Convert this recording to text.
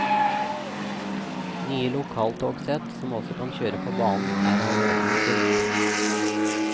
Nye lokaltogsett som også kan kjøre på banen, er allerede bestilt.